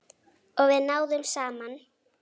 Og við náðum saman.